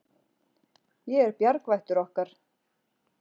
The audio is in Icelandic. Ég er bjargvættur okkar.